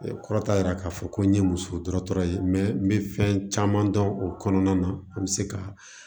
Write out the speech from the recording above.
Kɔrɔ t'a yira k'a fɔ ko n ye muso dɔ tɔgɔ ye n bɛ fɛn caman dɔn o kɔnɔna na an bɛ se ka